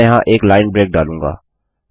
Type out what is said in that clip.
मैं यहाँ एक लाइन ब्रेक डालूँगा